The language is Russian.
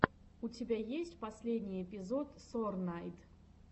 у тебя есть последний эпизод сорнайд